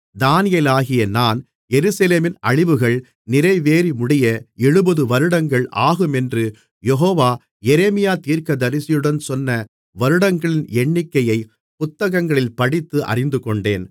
தானியேலாகிய நான் எருசலேமின் அழிவுகள் நிறைவேறிமுடிய எழுபதுவருடங்கள் ஆகுமென்று யெகோவா எரேமியா தீர்க்கதரிசியுடன் சொன்ன வருடங்களின் எண்ணிக்கையைப் புத்தகங்களில் படித்து அறிந்துகொண்டேன்